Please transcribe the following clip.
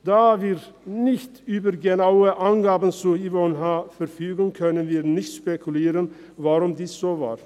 Da wir nicht über genaue Angaben zu Yvonne H. verfügen, können wir nicht spekulieren, weshalb dies so war.